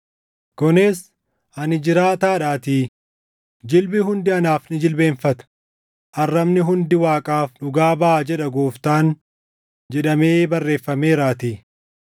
Kunis: “ ‘Ani jiraataadhaatii; jilbi hundi anaaf ni jilbeenfata; arrabni hundi Waaqaaf dhugaa baʼa’ jedha Gooftaan” + 14:11 \+xt Isa 45:23\+xt* jedhamee barreeffameeraatii.